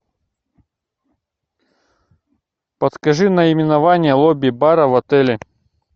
подскажи наименование лобби бара в отеле